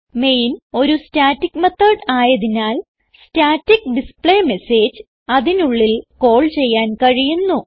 main ഒരു static method ആയതിനാൽ static display message അതിനുള്ളിൽ കാൾ ചെയ്യാൻ കഴിയുന്നു